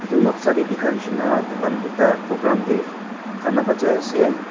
edu noksa tae dikha nishina tahan ekta program tae gana bajai ase.